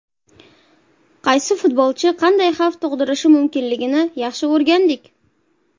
Qaysi futbolchi qanday xavf tug‘dirishi mumkinligini yaxshi o‘rgandik.